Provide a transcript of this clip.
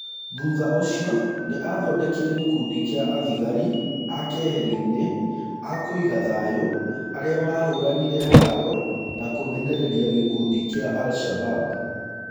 Thutha ũcio nĩ athondekire gĩkundi kĩa athigarĩ a keheri-nĩ akũiga thayũarĩa mahũranire haro na kũmenereria gĩkundi kĩa alshabab.